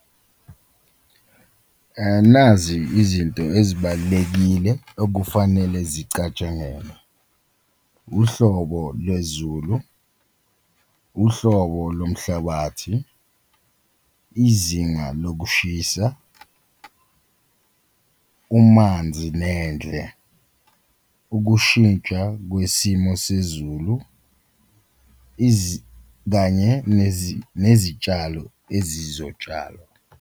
Nazi izinto ezibalulekile okufanele zicatshangelwe, uhlobo lwezulu, uhlobo lomhlabathi, izinga lokushisa, umanzi nendle, ukushintsha kwesimo sezulu, kanye nezitshalo ezizotshalwa.